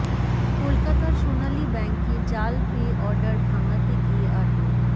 কলকাতার সোনালী ব্যাংকে জাল পে অর্ডার ভাঙাতে গিয়ে আটক